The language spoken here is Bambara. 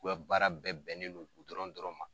U ka baara bɛɛ bɛnnen don dɔrɔn ma.